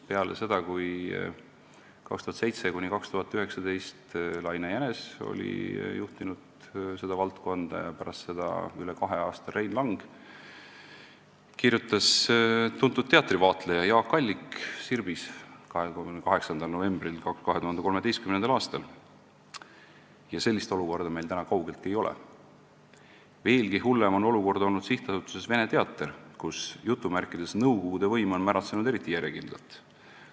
Peale seda, kui 2007–2011 oli Laine Jänes seda valdkonda juhtinud ja pärast seda üle kahe aasta Rein Lang, kirjutas tuntud teatrivaatleja Jaak Allik Sirbis 28. novembril 2013. aastal : "Veelgi hullem on olukord olnud sihtasutuses Vene Teater, kus "nõukogude" võim on märatsenud eriti järjekindlalt.